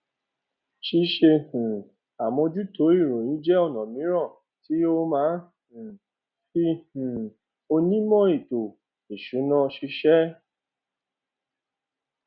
ṣíṣe um àmójútó ìròyìn jẹ ọnà míràn tí ó má ń um fí um onímò ètò ìsúná ṣíṣẹ